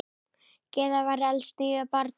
Gyða var elst níu barna.